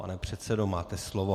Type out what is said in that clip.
Pane předsedo, máte slovo.